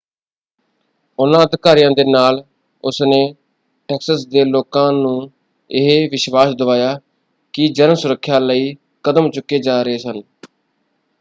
ਉਹਨਾਂ ਅਧਿਕਾਰੀਆਂ ਦੇ ਨਾਲ ਉਸਨੇ ਟੈਕਸਸ ਦੇ ਲੋਕਾਂ ਨੂੰ ਇਹ ਵਿਸ਼ਵਾਸ਼ ਦਵਾਇਆ ਕਿ ਜਨ ਸੁਰੱਖਿਆ ਲਈ ਕਦਮ ਚੁੱਕੇ ਜਾ ਰਹੇ ਸਨ।